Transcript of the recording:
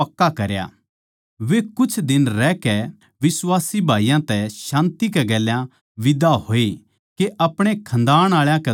वे कुछे दिन रहकै बिश्वासी भाईयाँ तै शान्ति कै गेल्या बिदा होए के अपणे खन्दाण आळा कै धोरै जावै